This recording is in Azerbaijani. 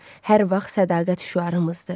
Hər vaxt sədaqət şüarımızdır.